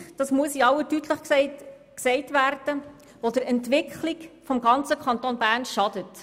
Es ist eine Politik – das muss in aller Deutlichkeit gesagt werden –, die der Entwicklung des Kantons Bern schadet.